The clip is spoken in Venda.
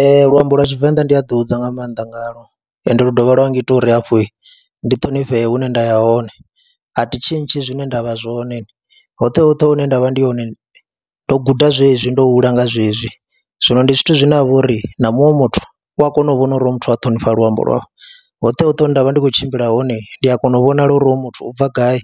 Ee, luambo lwa Tshivenḓa ndi a ḓihudza nga maanḓa ngalwo ende lu dovha lwa ngita uri hafhu ndi ṱhonifhee hune nda ya hone, a thi tshintshi zwine nda vha zwone, hoṱhe hoṱhe hune nda vha ndi hone ndo guda zwezwi, ndo hula nga zwezwi. Zwino ndi zwithu zwine ha vha uri na muṅwe muthu u a kona u vhona uri hoyu muthu a ṱhonifha luambo lwawe, hoṱhe hoṱhe hune nda vha ndi khou tshimbila hone ndi a kona u vhonala uri hoyu muthu u bva gai